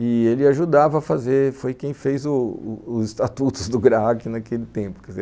E ele ajudava a fazer, foi quem fez os estatutos do GRAAC naquele tempo